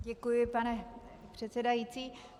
Děkuji, pane předsedající.